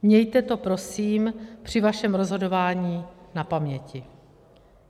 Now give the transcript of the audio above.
Mějte to prosím při svém rozhodování na paměti.